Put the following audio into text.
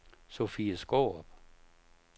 Sofie Skaarup